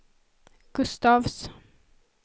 Gustafs